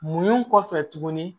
Mun kɔfɛ tuguni